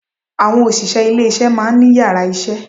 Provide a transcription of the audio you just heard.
Àwọn òṣìṣẹ́ ilé isé maá ní yàrá isé